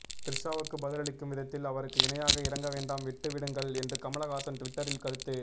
திரிஷாவுக்கு பதிலளிக்கும் விதத்தில் அவருக்கு இணையாக இறங்கவேண்டாம் விட்டு விடுங்கள் என்று கமலஹாசன் டுவிட்டரில் கருத்து